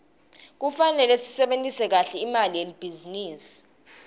kufanele sisebentise kahle imali yelibhizinisi